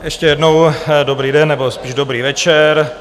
Ještě jednou dobrý den nebo spíš dobrý večer.